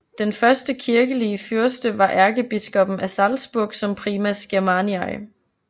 Den første kirkelige fyrste var ærkebiskoppen af Salzburg som Primas Germaniae